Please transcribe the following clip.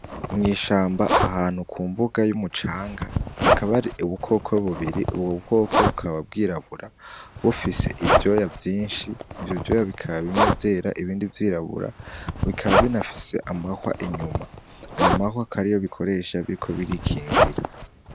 Mw'ishamba ahantu ku mbuga y'umucanga hakaba hari ubukoko bubiri, ubwo bukoko bukaba bwirabura bufise ivyoya vyinshi, ivyo ivyoya bikaba vyera ibindi vyirabura, bikaba binafise amahwa inyuma. Ayo mahwa akaba ariyo bikoresha biriko birikingira.